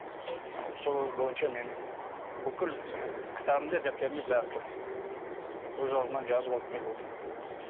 ы сол бойынша мен бүкіл кітабымда дәптерімде бәрі тұр өз аузынан жазып алып келіп отырмын